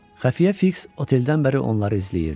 Xəfiyyə Fiks oteldən bəri onları izləyirdi.